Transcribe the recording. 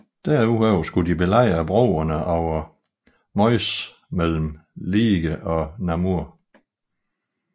Derudover skulle de belejre broerne over Meuse mellem Liège og Namur